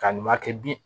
Ka nin ma kɛ bi